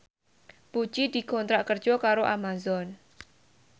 Puji dikontrak kerja karo Amazon